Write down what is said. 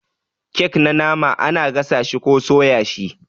kek na nama ana gasa shi ko soya shi ne.